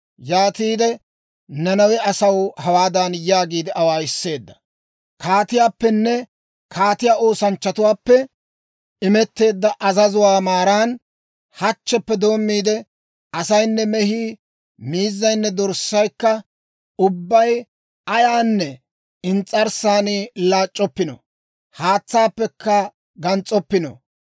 Yaatide Nanawe asaw hawaadan yaagiide awaayiseedda; «Kaatiyaappene kaatiyaa oosanchchatuwaappe imetteedda azazuwaa maaran, hachcheppe doommiide, asaynne mehii, miizzaynne dorssaykka ubbay ayaanne ins's'arssaani laac'c'oppino; haatsaakka gans's'oppino.